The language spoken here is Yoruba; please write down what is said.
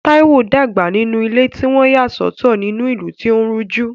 Taiwo dàgbà nínú ilé tí wọ́n yà sọ́tọ̀ ní ìlú tí ó ń rújú.